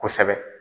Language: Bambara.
Kosɛbɛ